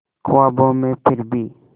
ख्वाबों में फिर भी